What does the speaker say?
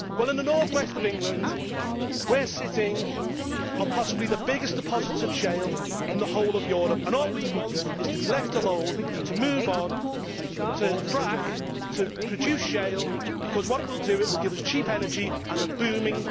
Well, in the North West of England, we are sitting on possibly the biggest deposits of shale in the whole of Europe and all we want is to be left alone to move on and frack, to produce shale, as what it will do is give us cheap energy and a boom in jobs.